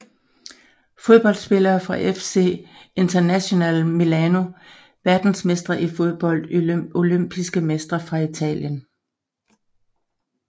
Fodboldspillere fra FC Internazionale Milano Verdensmestre i fodbold Olympiske mestre fra Italien